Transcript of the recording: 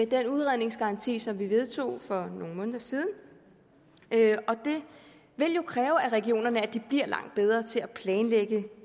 den udredningsgaranti som vi vedtog for nogle måneder siden det vil jo kræve af regionerne at de bliver langt bedre til at planlægge